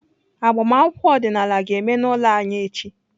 Agbamakwụkwọ ọdịnala ga-eme n'ụlọ anyị echi.